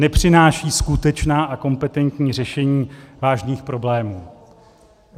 Nepřináší skutečná a kompetentní řešení vážných problémů.